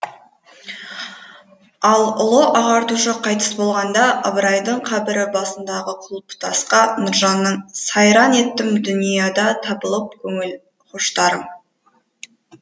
ал ұлы ағартушы қайтыс болғанда ыбырайдың қабірі басындағы құлпытасқа нұржанның сайран еттім дүниядатабылып көңіл хоштарым